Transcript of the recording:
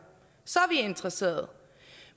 så er interesseret